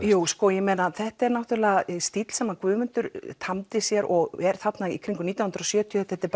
jú sko ég meina þetta er stíll sem Guðmundur tamdi sér og er þarna í kringum nítján hundruð og sjötíu þetta er